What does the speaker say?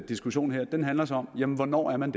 diskussion her handler så om hvornår man